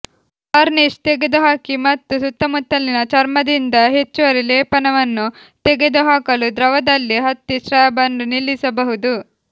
varnish ತೆಗೆದುಹಾಕಿ ಮತ್ತು ಸುತ್ತಮುತ್ತಲಿನ ಚರ್ಮದಿಂದ ಹೆಚ್ಚುವರಿ ಲೇಪನವನ್ನು ತೆಗೆದುಹಾಕಲು ದ್ರವದಲ್ಲಿ ಹತ್ತಿ ಸ್ವ್ಯಾಬ್ ಅನ್ನು ನಿಲ್ಲಿಸಬಹುದು